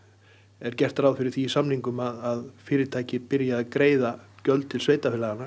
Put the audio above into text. er gert ráð fyrir því í samningum að fyrirtæki byrji að greiða gjöld til sveitarfélaganna